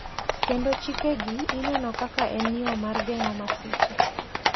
Kendo chike gi ineno kaka en yo mar geng`o masiche,